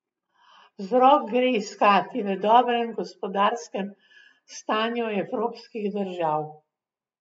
Vzrok gre iskati v dobrem gospodarskem stanju evropskih držav.